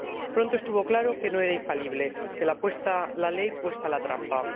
Pronto estuvo claro que no era infalible, que, hecha la ley, hecha la trampa.